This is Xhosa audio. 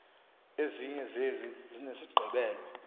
ezinye zezi zinesigqibelo